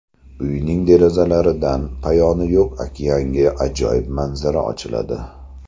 Uyning derazalaridan poyoni yo‘q okeanga ajoyib manzara ochiladi.